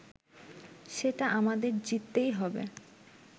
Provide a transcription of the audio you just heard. সেটা আমাদের জিততেই হবে